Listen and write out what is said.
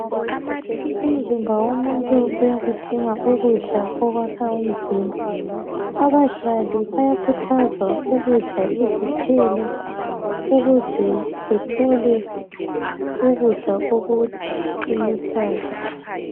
Umzimba womuntu uyakudinga ukudla okwakha umzimba, abadlali bayakhuthazwa ukudla izithelo ukuze bethole ukudla okuqinisayo.